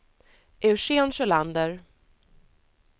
Eugen Sjölander